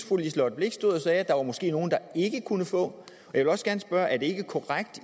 fru liselott blixt stod og sagde at der måske var nogle der ikke kunne få jeg vil også gerne spørge er det ikke korrekt at